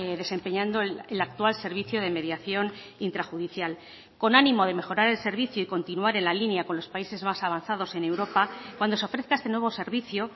desempeñando el actual servicio de mediación intrajudicial con ánimo de mejorar el servicio y continuar en la línea con los países más avanzados en europa cuando se ofrezca este nuevo servicio